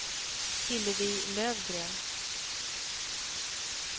Hillevi Löfgren